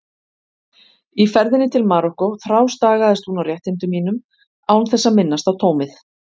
Í ferðinni til Marokkó þrástagaðist hún á réttindum mínum án þess að minnast á tómið.